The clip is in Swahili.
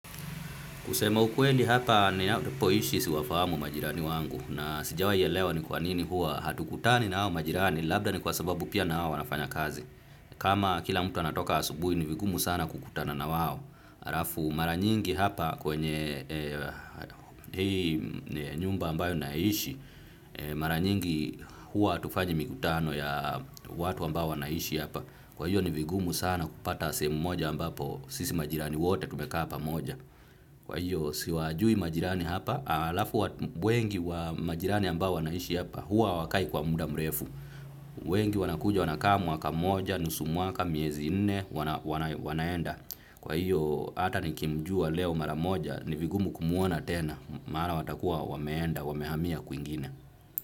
Kusema ukweli hapa ninapoishi siwafahamu majirani wangu na sijawai elewa ni kwa nini hua hatukutani na hao majirani labda ni kwa sababu pia na hao wanafanya kazi. Kama kila mtu anatoka asubui ni vigumu sana kukutana na wao. Arafu mara nyingi hapa kwenye hii nyumba ambayo naishi mara nyingi hua atufanyi mikutano ya watu ambao wanaishi hapa. Kwa hiyo ni vigumu sana kupata sehemu moja ambapo sisi majirani wote tumekaa pamoja. Kwa hiyo, siwajui majirani hapa, alafu wengi wa majirani ambao wanaishi hapa, huwa hawakai kwa muda mrefu. Wengi wanakuja, wanakaa mwaka moja, nusu mwaka, miezi nne, wanaenda. Kwa hiyo, ata nikimjua leo mara moja, ni vigumu kumwona tena, maana watakuwa wameenda, wamehamia kwingine.